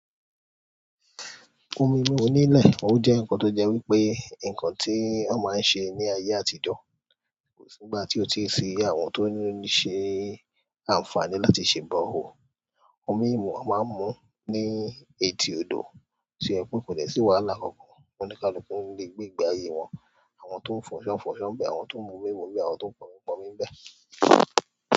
Omi imú oní ilẹ̀, o jẹ́ nǹkan tó jẹ́ wípé, ǹkan tí wón máa ń ṣe ní ayé àtijọ́. Kò sí ìgbà tí ó ti ṣi àwọn tó ń ṣe àǹfààní láti ṣe borehole. Omi yìí a máa ń mú ní etí odò, tí o jẹ pé kò dẹ sí wàhálà kankan, onikaluku n gbé ìgbé ayé wọn. Àwọn tó ń fọṣọ fọṣọ nbẹ́, àwọn tó ń mú mímu nbẹ́, àwọn tó ń pọnmi pọnmi nbẹ́.